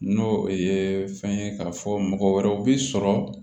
N'o o ye fɛn ye k'a fɔ mɔgɔ wɛrɛw bi sɔrɔ